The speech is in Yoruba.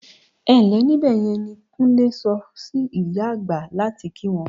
"Ẹ ǹ lẹ́ níbẹ̀ yẹn" ni Kúnlé sọ sí ìyá àgbà láti kí wọn.